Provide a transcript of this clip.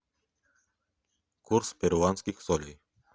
курс перуанских солей